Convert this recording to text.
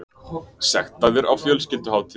Sektaðir á fjölskylduhátíðum